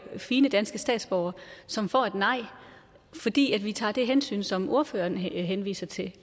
fine danske statsborgere som får et nej fordi vi tager det hensyn som ordføreren henviser til